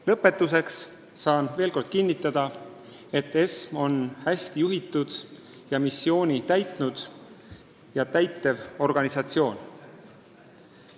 Lõpetuseks kinnitan veel kord, et ESM on hästi juhitud missiooni täitnud ja täitev organisatsioon.